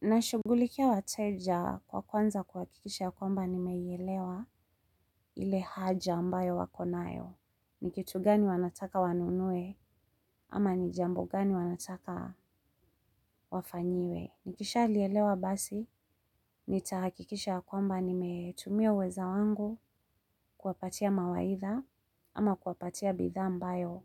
Nashugulikia wateja kwa kuwanza kuhakikisha ya kwamba nimeielewa ile haja ambayo wako nayo. Ni kitu gani wanataka wanunue ama nijambo gani wanataka wafanyiwe. Nikisha liyelewa basi nitahakikisha ya kwamba nimetumia uweza wangu kuwapatia mawaitha ama kuwapatia bidhaa ambayo